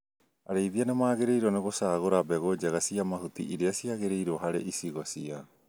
Arĩithia nĩmagĩrĩirwo nĩ gũcagũra mbegũ njega cia mahuti irĩa cĩagĩrĩirwo harĩ icigo ciao